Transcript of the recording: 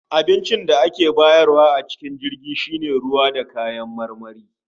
Abincin da ake bayarwa a jirgin shi ne ruwa da kayan marmari